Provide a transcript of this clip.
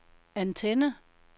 antenne